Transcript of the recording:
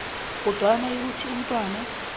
kodwana nayikuthi umntwana